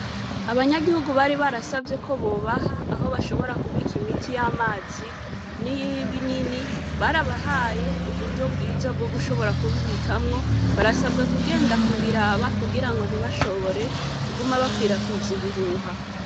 Abanyagihugu bari barasavye ko bobaha aho bashobora kubika imiti y'amazi n'iyibinini, barabahaye uburyo bwiza bwo gushobora kubibikamwo. Barasabwa kugenda kuraba kugira ngo ntibashobore kuguma bakwiragiza ibihuha.